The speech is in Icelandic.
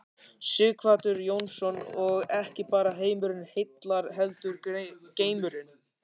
Sighvatur Jónsson: Og ekki bara heimurinn heillar heldur geimurinn?